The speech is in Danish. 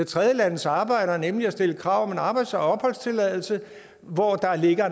tredjelandes arbejdere nemlig at stille krav om en arbejds og opholdstilladelse hvor der ligger